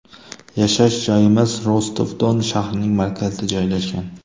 Yashash joyimiz Rostov-Don shahrining markazida joylashgan.